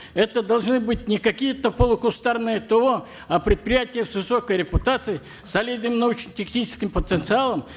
это должны быть не какие то полукустарные то а предприятия с высокой репутацией солидным научно техническим потенциалом